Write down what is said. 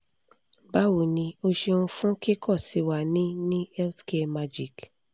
bawo ni o ṣeun fun kikọ si wa ni ni healthcaremagic